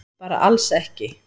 Bara alls ekki.